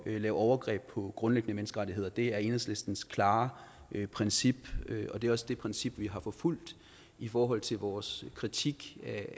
lave overgreb på grundlæggende menneskerettigheder det er enhedslistens klare princip og det er også det princip vi har forfulgt i forhold til vores kritik